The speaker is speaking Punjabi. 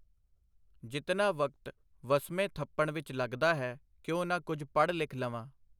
ਜਿਤਨਾ ਵਕਤ ਵਸਮੇਂ ਥੱਪਣ ਵਿਚ ਲੱਗਦਾ ਹੈ, ਕਿਉਂ ਨਾ ਕੁਝ ਪੜ੍ਹ-ਲਿਖ ਲਵਾਂ.